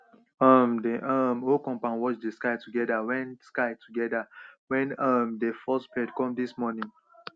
um the um whole compound watch dey sky together wen sky together wen um dey first birds come dis morning